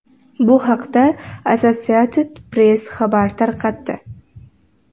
Bu haqda Associated Press xabar tarqatdi.